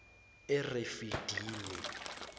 erefidimi